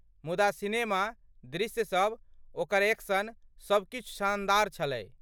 मुदा सिनेमा, दृश्य सब, ओकर एक्शन, सब किछु शानदार छलै।